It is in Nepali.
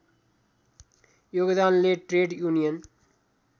योगदानले ट्रेड युनियन